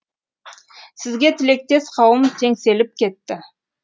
сізге тілектес қауым теңселіп кетті